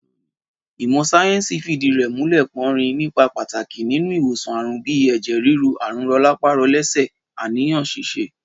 Ìmọ̀ sáyé̩ǹsì fìdí rè̩ múlè̩, porin nípa pàtàkì nínú ìwòsàn àrùn bíi è̩jè̩ ríru, àrùn ro̩lápá-ro̩lé̩sè̩, àníyàn s̩is̩e